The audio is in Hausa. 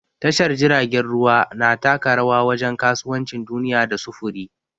Tashar jiragen ruwa na taka rawa wajen kasuwancin duniya da sufuri.